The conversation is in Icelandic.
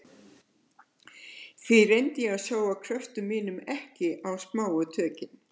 Því reyndi ég að sóa kröftum mínum ekki á smáu tökin.